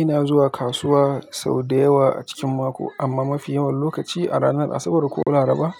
Ina zuwa kasuwa sau da yawa a cikin mako amma mafi yawan lokaci a ranar Asabar ko Laraba